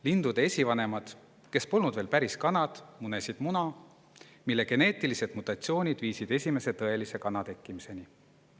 Lindude esivanemad, kes polnud veel päris kanad, munesid muna, mille geneetilised mutatsioonid viisid esimese tõelise kana tekkimiseni.